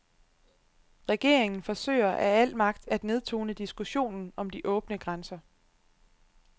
Regeringen forsøger af al magt at nedtone diskussionen om de åbne grænser.